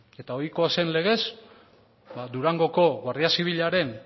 eta ohikoa zen legez durangoko guardia zibilaren